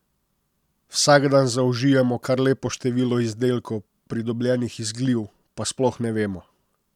Vsak dan zaužijemo kar lepo število izdelkov, pridobljenih iz gliv, pa sploh ne vemo.